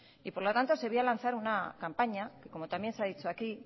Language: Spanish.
y por lo tanto se vio a lanzar una campaña que como también se ha dicho aquí